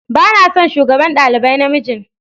Ba na son shugaban dalibai na mijin.